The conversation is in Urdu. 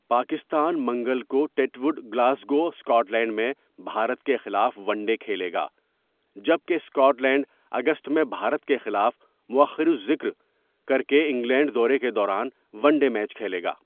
پاکستان منگل کو Titwood, Glasgow, Scotland میں بھارت کے خلاف ون ڈے کھیلے گا، جبکہ اسکاٹ لینڈ اگست میں بھارت کے خلاف موٴخر الذکر کر کے انگلینڈ دورے کے دوران ون ڈے میچ کھیلے گا۔